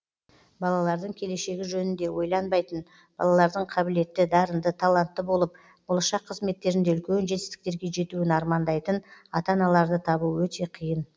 балалардың келешегі жөнінде ойланбайтын балалардың қабілетті дарынды талантты болып болашақ қызметтерінде үлкен жетістіктерге жетуін армандайтын ата аналарды табу өте қиын